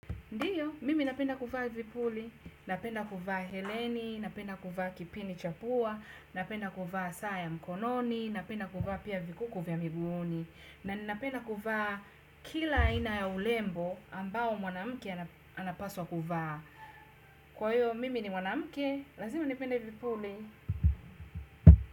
Ndio, mimi napenda kuvaa vipuli, napenda kuvaa heleni, napenda kuvaa kipini cha pua, napenda kuvaa saa ya mkononi, napenda kuvaa pia vikuku vya miguuni, na ninapenda kuvaa kila aina ya urembo ambao mwanamke anapaswa kuvaa. Kwa hiyo, mimi ni mwanamke, lazima nipende vipuli.